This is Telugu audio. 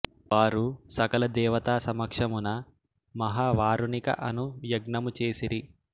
వారు సకల దేవతా సమక్షమున మహా వారుణిక అను యజ్ఞము చేసిరి